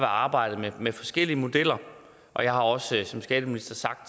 arbejdet med forskellige modeller og jeg har også som skatteminister sagt